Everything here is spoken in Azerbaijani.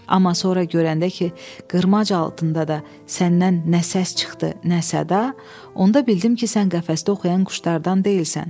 Amma sonra görəndə ki, qırmac altında da səndən nə səs çıxdı, nə səda, onda bildim ki, sən qəfəsdə oxuyan quşlardan deyilsən.